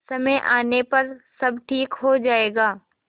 समय आने पर सब ठीक हो जाएगा